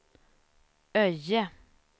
Öje